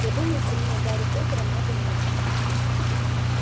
я думаю сильнее гарри поттера мага нет